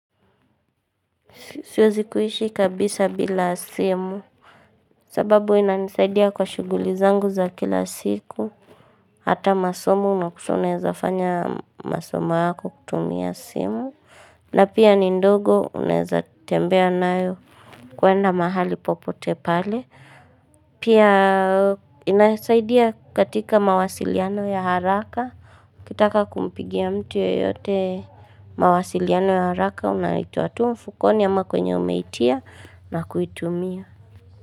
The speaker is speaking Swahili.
Siwezi kuishi kabisa bila simu, sababu inanisaidia kwa shuguli zangu za kila siku, hata masomo, na kusonaeza fanya masomo wako kutumia simu, na pia ni ndogo unaeza tembea nayo kuenda mahali popote pale. Pia inasaidia katika mawasiliano ya haraka, ukitaka kumpigia mtu yeyote mawasiliano ya haraka, Unaitoa tu mfukoni ama kwenye umeitia na kuitumia.